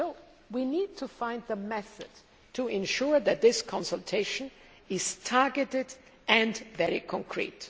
So we need to find a method to ensure that this consultation is targeted and very concrete.